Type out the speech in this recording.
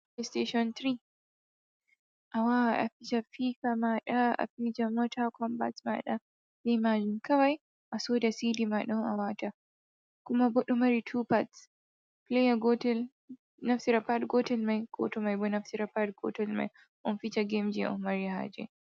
steshin 3. A wawan a fija fifa maɗa, a fija mota kombat maɗa be majun. Kawai a soda sidi maɗa a wata. kuma ɗomari 2 pats. Pleya gotel naftira pat gotel mai an bo a naftira pat gotel mai onfija gemji onmari haje.